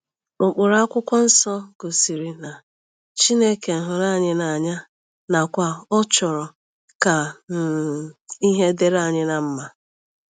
Ụkpụrụ akwụkwọ nsọ gosiri na Chineke hụrụ anyị n’anya nakwa na ọ chọrọ ka um ihe dịrị anyị mma. ”